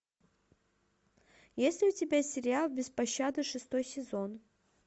есть ли у тебя сериал без пощады шестой сезон